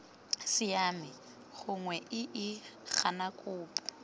siame gongwe iii gana kopo